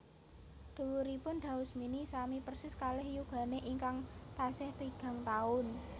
Dhuwuripun Daus Mini sami persis kalih yugane ingkang tasih tigang taun